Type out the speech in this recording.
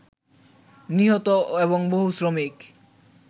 নিহত এবং বহু শ্রমিক